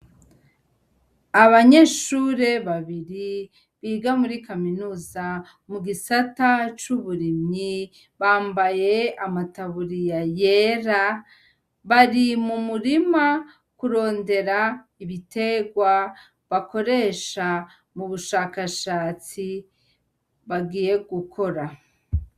Abanyeshure babiri biga muri kaminuza mu gisata c'uburimyi bambaye amataburiya yera bari mu murima kurondera ibiterwa bakoresha mu bushakashatsi bagiye gukora.